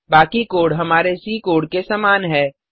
बाकी कोड हमारे C code के समान है